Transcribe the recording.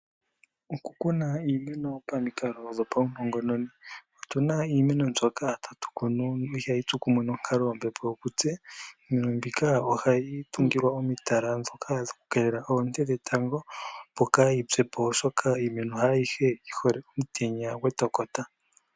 Okukuna iimeno pamikalo dhopaunongononi. Otu na iimeno mbyoka tatu kunu ihayi tsu kumwe nonkaloyombepo yokutse. Iimeno mbika ohayi tungilwa omitala ndhoka dhokukeelela oonte dhetango opo kayi pye po, oshoka iimeno haa yihe yi hole omutenya gwetokota.